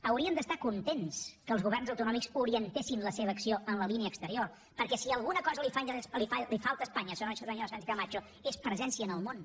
haurien d’estar contents que els governs autonòmics orientessin la seva acció en la línia exterior perquè si alguna cosa li falta a espanya senyora sánchez camacho és presència en el món